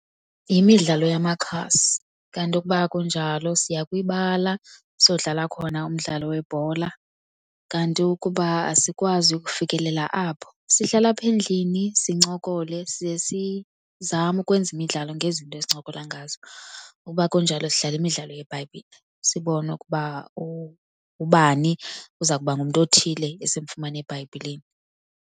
Yimidlalo yamakhasi, kanti ukuba akunjalo, siya kwibala siyodlala khona umdlalo webhola. Kanti ukuba asikwazi ukufikelela apho sihlala apha endlini sincokole, siye sizame ukwenza imidlalo ngezinto esincokola ngazo. Uba akunjalo sidlala imidlalo yeBhayibhile sibone ukuba uba ubani uza kuba ngumntu othile esimfumana eBhayibhileni.